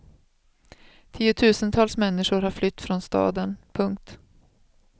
Tiotusentals människor har flytt från staden. punkt